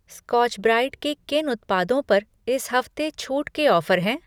Scotch Brite के किन उत्पादों पर इस हफ़्ते छूट के ऑफ़र हैं?